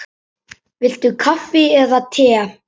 Viltu kaffi eða te?